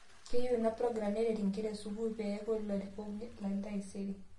Keyieu inaprogram nerret nkera e suukul pee eeku larikok lentaisere